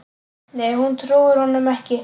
Nei hún trúir honum ekki.